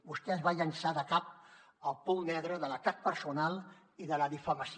vostè es va llançar de cap al pou negre de l’atac personal i de la difamació